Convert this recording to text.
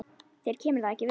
Þér kemur það ekki við.